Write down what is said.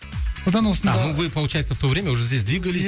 содан осында ну вы получается в то время уже здесь двигались